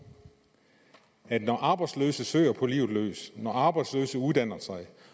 at når arbejdsløse søger på livet løs når arbejdsløse uddanner sig